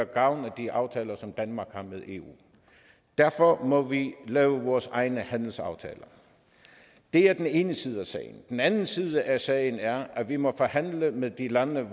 gavn af de aftaler som danmark har med eu derfor må vi lave vores egne handelsaftaler det er den ene side af sagen den anden side af sagen er at vi må forhandle med de lande